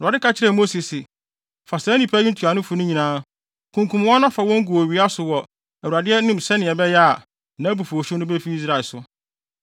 Awurade ka kyerɛɛ Mose se, “Fa saa nnipa yi ntuanofo no nyinaa, kunkum wɔn na fa wɔn gu owia so wɔ Awurade anim sɛnea ɛbɛyɛ a, nʼabufuwhyew no befi Israel so.”